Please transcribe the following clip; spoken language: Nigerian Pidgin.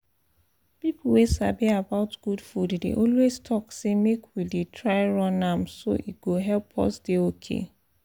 people wey sabi about good food dey always talk say make we dey try run am so e go help us dey okay